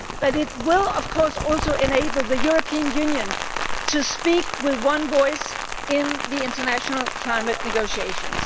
It will, of course, also enable the European Union to speak with one voice in the international climate negotiations.